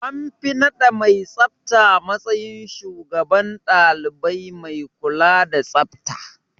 An fi naɗa mai tsafta matsayin shugaban ɗalibai mai kula da tsafta.